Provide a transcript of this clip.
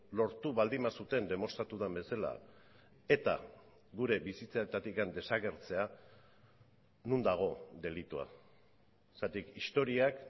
lortu baldin bazuten demostratu den bezala eta gure bizitzetatik desagertzea non dago delitua zergatik historiak